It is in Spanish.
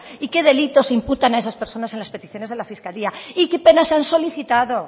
y qué delitos imputan a esas personas en las peticiones de la fiscalía y qué penas han solicitado